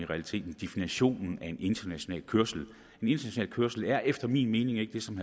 realiteten definitionen af en international kørsel en international kørsel er efter min mening ikke det som